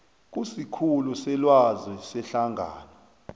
kusikhulu selwazi sehlangano